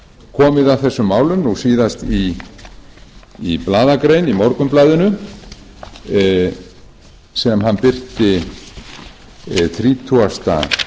komið að þessum málum nú síðast í blaðagrein í morgunblaðinu sem hann birti þrítugasta